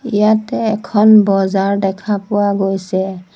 ইয়াতে এখন বজাৰ দেখা পোৱা গৈছে।